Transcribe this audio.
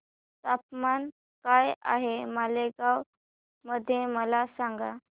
तापमान काय आहे मालेगाव मध्ये मला सांगा